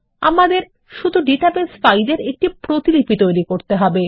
আমাদের শুধু database file এর একটি প্রতিলিপি তৈরি করতে হবে